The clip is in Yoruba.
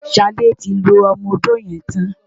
Ṣadé ti lo ọmọ-odó yẹn tán.